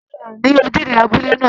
Ó ṣẹlẹ̀ ní ojúde abúlé náà